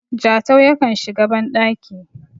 Jatau yakan shiga bandaki